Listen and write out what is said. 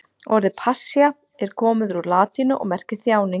Orðið passía er komið úr latínu og merkir þjáning.